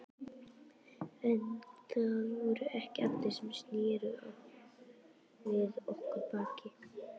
En það voru ekki allir sem sneru við okkur baki.